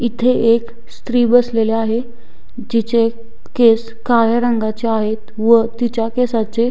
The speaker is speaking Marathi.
इथे एक स्त्री बसलेली आहे जिचे केस काळ्या रंगाचे आहेत व तिच्या केसाचे--